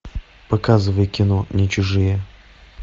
показывай кино не чужие